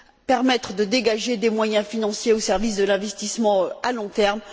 permettre de dégager des moyens financiers au service de l'investissement à long terme.